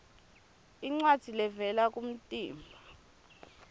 incwadzi levela kumtimba